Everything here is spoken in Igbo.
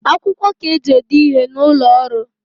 Akwukwo ka eji ede ihe n’ụlọọrụ